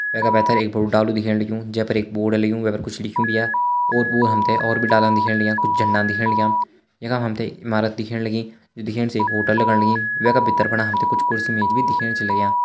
वैका पैथर एक बड़ू डालू दिखेण लग्यूं जैफर एक बोर्ड लग्युं वैफर कुछ लिख्युं भी या ओर-पो हमथे और भी डालान दिखेण लग्यां कुछ झरणाम दिखेण लग्यां यखम हमथे ईमारत दिखेण लगीं जु दिखेण से एक होटल लगण लगीं वैका भितर फणा हमथे कुछ कुर्सी मेज भी दिखेण छ लग्यां।